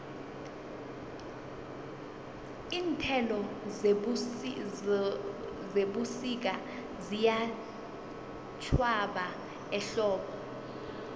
iinthelo zebusika ziyatjhwaba ehlobo